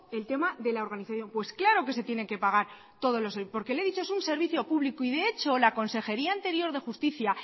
el tema de la organización pues claro que se tienen que pagar todos los porque le he dicho es un servicio público y de hecho la consejería anterior de justicia